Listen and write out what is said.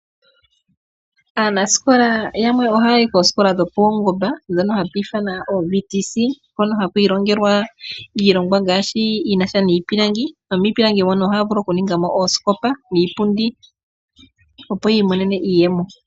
Aanasikola yamwe ohaa yi koosikola dho paungomba, ndhono hatu ithana oVTC, hono ha ku ilongelwa iilongwa ngaashi, yi na sha niipilangi, nomiipilangi mono ohaa vulu oku ninga mo oosikopa niipundi, opo yi imonene iiyemo.